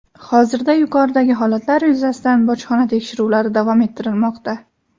Hozirda yuqoridagi holatlar yuzasidan bojxona tekshiruvlari davom ettirilmoqda.